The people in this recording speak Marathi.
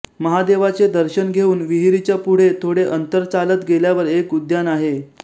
महादेवाचे दर्शन घेउन विहीरीच्या पुढे थोडे अंतर चालत गेल्यावर एक उद्यान आहे